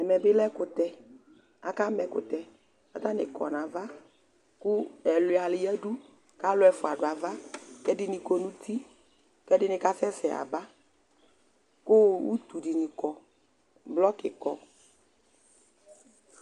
Ɛmɛ bɩ lɛ ɛkʋtɛ Akama ɛkʋtɛ kʋ atanɩ kɔ nʋ ava kʋ ɛlʋɩa yǝdu kʋ alʋ ɛfʋa dʋ ava kʋ ɛdɩnɩ kɔ nʋ uti kʋ ɛdɩnɩ kasɛsɛ yaba kʋ utu dɩnɩ kɔ Blɔkɩ kɔ